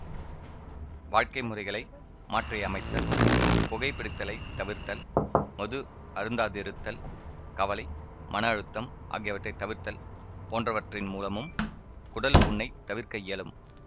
வாழ்க்கை முறைகளை மாற்றியமைத்தல் புகைப்பிடித்தலைத் தவிர்த்தல் மது அருந்தாதிருத்தல் கவலை மன அழுத்தம் ஆகியவற்றை தவிர்த்தல் போன்றவற்றின் மூலமும் குடல்புண்ணைத் தவிர்க்க இயலும்